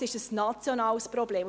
Es ist ein nationales Problem.